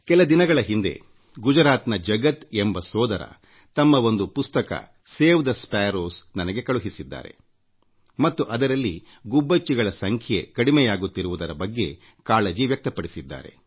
ಕೆಲ ದಿನಗಳ ಹಿಂದೆ ಗುಜರಾತ್ನ ಜಗತ್ ಬಾಯ್ ಎಂಬುವವರು ತಮ್ಮ ಸೇವ್ ಥೆ ಸ್ಪ್ಯಾರೋಸ್ ಗುಬ್ಬಚ್ಚಿಗಳನ್ನು ಉಳಿಸಿಎಂಬ ಒಂದು ಪುಸ್ತಕ ನನಗೆ ಕಳುಹಿಸಿದ್ದರು ಮತ್ತು ಅದರಲ್ಲಿ ಗುಬ್ಬಚ್ಚಿಗಳ ಸಂಖ್ಯೆ ಕಡಿಮೆಯಾಗುತ್ತಿರುವುದರ ಬಗ್ಗೆ ಆತಂಕ ವ್ಯಕ್ತಪಡಿಸಿದ್ದರು